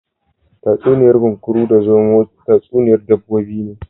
Tatsuniya'n Kunkuru da zomo tatsuniya'n dabbobi ne.